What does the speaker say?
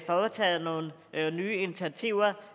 har taget nogle nye initiativer